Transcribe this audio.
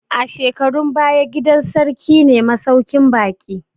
A shekarun baya, gidan sarki ne masuƙin baƙi